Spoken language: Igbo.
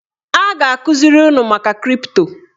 A ga-akụziri unu maka kripto